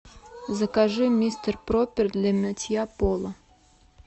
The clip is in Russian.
закажи мистер пропер для мытья пола